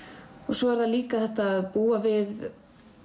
svo er það líka þetta að búa við